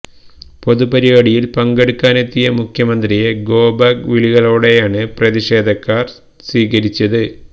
ഒരു പൊതുപരിപാടിയില് പങ്കെടുക്കാനെത്തിയ മുഖ്യന്ത്രിയെ ഗോ ബാക്ക് വിളികളോടെയാണ് പ്രതിഷേധക്കാര് സ്വീകരിച്ചത്